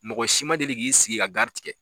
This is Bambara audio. Mɔgɔ si ma deli k'i sigi ka gari tigɛ.